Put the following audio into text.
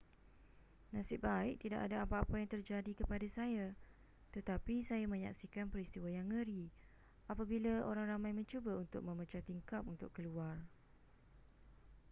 nasib baik tidak ada apa-apa yang terjadi kepada saya tetapi saya menyaksikan peristiwa yang ngeri apabila orang ramai mencuba untuk memecah tingkap untuk keluar